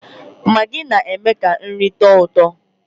Magị na-eme ka nri tọọ ụtọ